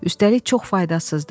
Üstəlik çox faydasızdır.